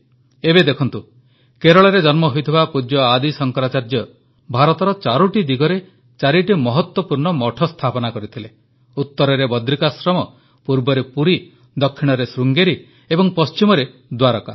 ଏବେ ଦେଖନ୍ତୁ କେରଳରେ ଜନ୍ମ ହୋଇଥିବା ପୂଜ୍ୟ ଆଦି ଶଙ୍କରାଚାର୍ଯ୍ୟ ଭାରତର ଚାରୋଟି ଦିଗରେ ଚାରିଟି ମହତ୍ୱପୂର୍ଣ୍ଣ ମଠ ସ୍ଥାପନ କରିଥିଲେ ଉତ୍ତରରେ ବଦ୍ରିକାଶ୍ରମ ପୂର୍ବରେ ପୁରୀ ଦକ୍ଷିଣରେ ଶୃଙ୍ଗେରୀ ଏବଂ ପଶ୍ଚିମରେ ଦ୍ୱାରକା